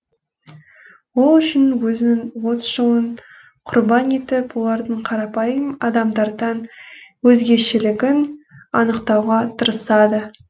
ол үшін өзінің отыз жылын құрбан етіп олардың қарапайым адамдардан өзгешелігін анықтауға тырысады